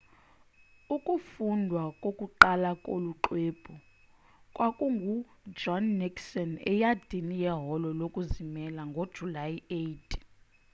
ukufundwa kokuqala kolu xwebhu kwakungujohn nixon eyadini yeholo lokuzimela ngojulayi 8